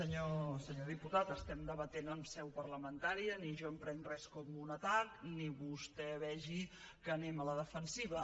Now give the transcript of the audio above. senyor diputat estem debatent en seu parlamentària ni jo em prenc res com un atac ni vostè vegi que anem a la defensiva